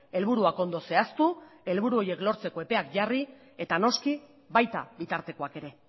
helburuak ondo zehaztu helburu horiek lortzeko epeak jarri eta noski baita bitartekoak ere